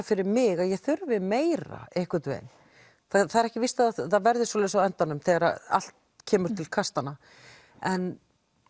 fyrir mig að ég þurfi meira einhvern veginn það er ekki víst að það verði svoleiðis á endanum þegar allt kemur til kastanna en